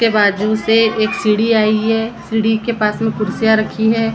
के बाजू से एक सीढ़ी आई है सीढ़ी के पास में कुर्सियां रखी है।